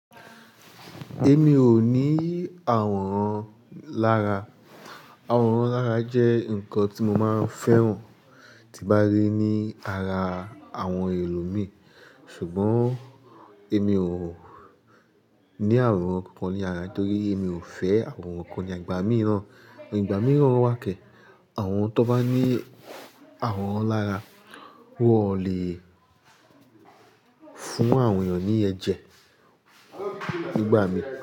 Èmi ò ní àwòrán lára. Àwòrán lára jẹ́ nǹkan tí mo máa ń fẹ́ràn tí bá rí ní ara àwọn ẹlòmíràn, ṣùgbọ́n èmi ò ní àwòrán kankan ní ara nítorí èmi ò fẹ́ àwòn nkan ní agbà, igba mìí naa Igbà mìíràn wàkẹ̀. Àwọn tó bá ní àwòrán lára wọ́n ò lè fún àwọn èniyàn ní ẹ̀jẹ̀ nígbà mí.